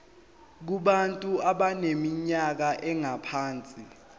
kubantu abaneminyaka engaphansi